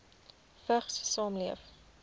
vigs saamleef